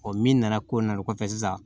Ɔ min nana ko n nalen kɔfɛ sisan